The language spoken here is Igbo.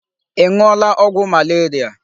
Ị ṅụọla ọgwụ malaria?